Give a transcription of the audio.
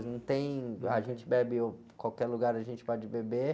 Não tem, a gente bebe uh, em qualquer lugar, a gente pode beber.